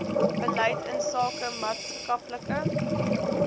beleid insake maatskaplike